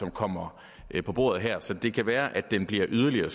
kommer på bordet her så det kan være at den bliver yderligere